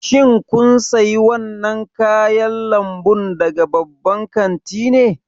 Shin kun sayi wannan kayan lambu daga babban kanti ne?